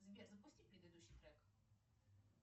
сбер запусти предыдущий трек